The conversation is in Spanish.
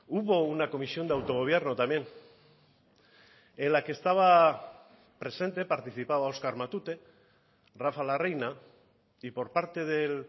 hubo una comisión de autogobierno también en la que estaba presente participaba oskar matute rafa larreina y por parte del